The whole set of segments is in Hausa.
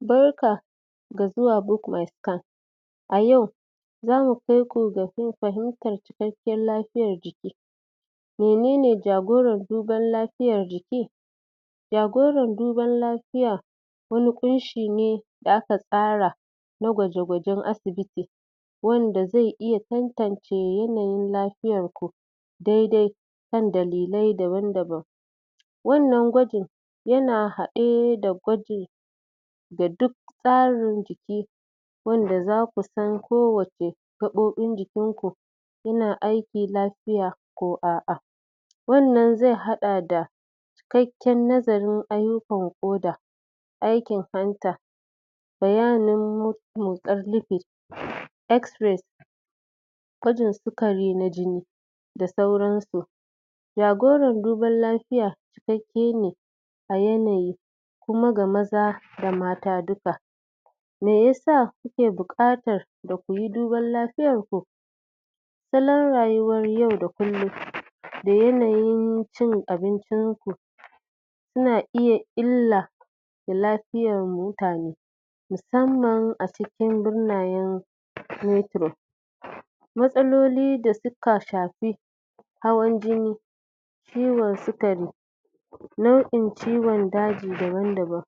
Barka da zuwa book my scan a yau zamu kai ku domin fahimtar cikakken lafiyan jiki menene jagorara duban lafiyan jiki jagoran duban lafiya wani ƙunshi ne da aka tsara na gwaje-gwajen asibiti wanda zai iya tantance yanayin lafiyarku daidai kan dlilai daban daban wannan gwajin yana haɗe da gwajin da duk tsarin jiki wanda zaku san kowacce gaɓoɓin jikinku yana aiki lafiya ko a'a wannan zai haɗa da cikakken nazarin ayyukan ƙoda aikin hanta? x-rays gwajin sukari na jini da sauransu jagoran duban lafiya cikakke ne a yanayi kuma ga maza da mata dukka meyasa kuke buƙatar da kuyi dubar lafiyanku salon rayuwar yau da kullum da yanayin cin abincin ku yana iya illa ga lafiyar mutane musamman a cikin?? matsaloli da suka shafi hawan jini ciwon sukari nau'in ciwon daji daban daban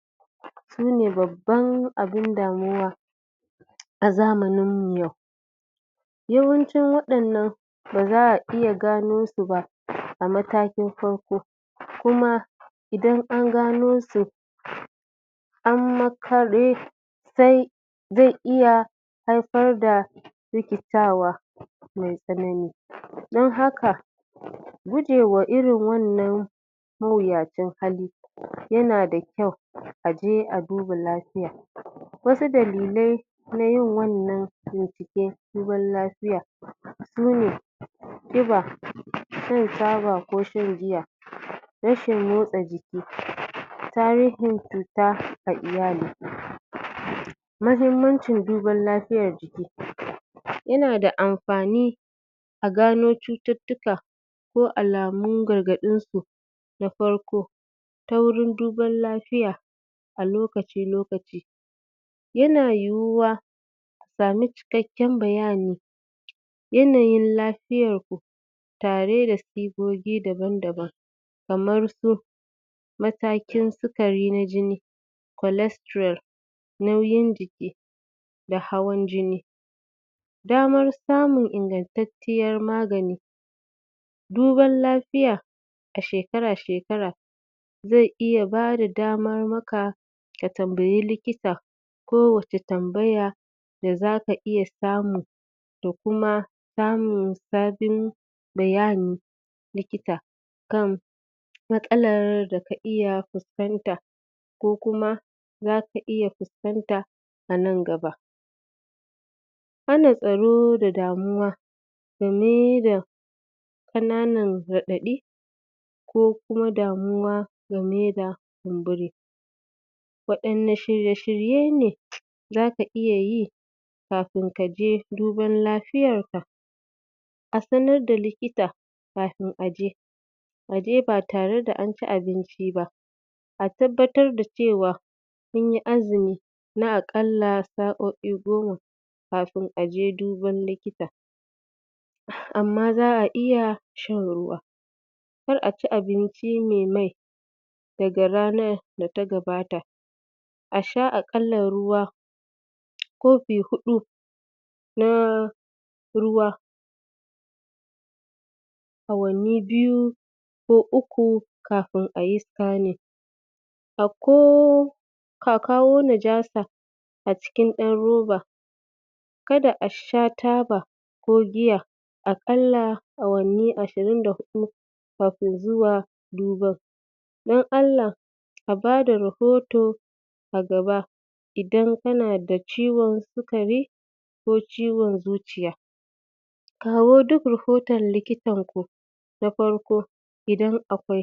sune babban abun damuwa a zamanin mu yau yawancin waɗannan ba za a iya gano su ba a matakin farko kuma idan an gano su? sai zai iya haifar da rikitawa mai tsanani don haka gujewa irin wannan mawuyacin hali yana da kyau a je a duba lafiya wau dalilai na yin wannan bincike duban lafiya sune ƙiba, shan taba ko shan giya rashin motsa jiki tarihin cuta ga iyali mahimmancin duban lafiyar yana da amfani a gano cututtuka ko alamun gargaɗinsu da farko ta wurin duban lafiya a lokaci lokaci yana yiwuwa a samu cikakken bayani yanayin lafiyarku tare da sigogi daban daban kamar su matakin sukari na jini cholesterol nauyin jiki da hawan jini daman samun ingantacciyar magani duban lafiya a shekara shekara zai iya bada damar maka ka tambayi likita ko wace tambaya da zaka iya samu da kuma samun sabin bayanni likita kan matsalar da ka iya fuskanta ko kuma zaka iya fuskanta a nan gaba hana tsaro da damuwa game da kananan raɗaɗi ko kuma damuwa game da kumburi waɗanna shirye shirye ne zaka iya yi kafin kaje dubar lafiyanka a sanar da likita kafin a je a je ba tare da an ci abinci ba a tabbatar da cewa kunyi azumi na aƙalla sa'o'i goma kafin aje duban likita amma za a iya shan ruwa kar a ci abinci mai mai daga ranar da ta gabata a sha aƙalla ruwa kofi huɗu na ruwa awanni biyu ko uku kafin ayi scanning a ko ka kawo najasa a cikin ɗan roba kada a sha taba ko giya aƙalla awanni ashirin da huɗu (24) kafin zuwa duban don Allah a bada rahoto a gaba idan kana da ciwon sukari ko ciwon zuciya kawo duk rahoton likitar ku na farko idan akwai.